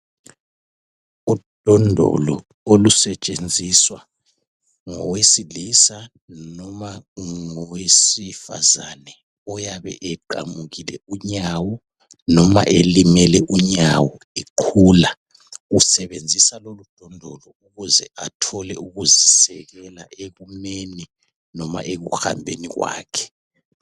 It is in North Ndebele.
Udondolo olusentshenziswa ngowesilisa noma ngowesifazane oyabe eqamukile unyawo noma elimele unyawo eqhula. Usebenzisa lolu dondolo ukuze athole ukuzisekela ekumeni noma ekuhambeni kwakhe